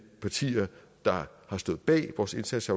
partier der har stået bag vores indsats